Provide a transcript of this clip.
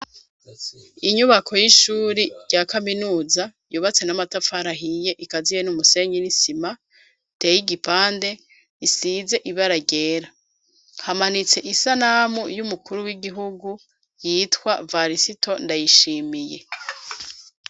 Inyubako y'ishuri rya kaminuza yubatse n'amatafari ahiye ikaziye n'umusenyi n'isima, iteye igipande isize ibara ryera, hamanitse isanamu y'umukuru w'igihugu yitwa Varisito Ndayishimiye.